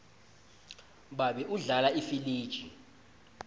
babe udlala ifiliji